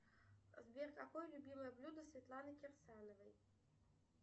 сбер какое любимое блюдо светланы кирсановой